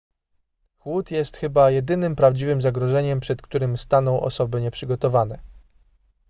chłód jest chyba jedynym prawdziwym zagrożeniem przed którym staną osoby nieprzygotowane